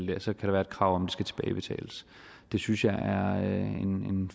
der så kan være et krav om skal tilbagebetales det synes jeg er at man